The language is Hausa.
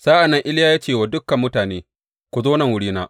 Sa’an nan Iliya ya ce wa dukan mutane, Ku zo nan wurina.